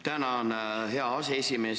Tänan, hea aseesimees!